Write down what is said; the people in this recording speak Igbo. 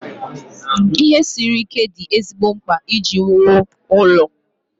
Ihe siri ike dị ezigbo mkpa iji wuo ụlọ.